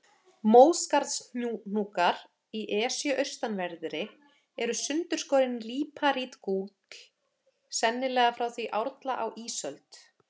Móskarðshnúkar í Esju austanverðri eru sundurskorinn líparítgúll, sennilega frá því árla á ísöld.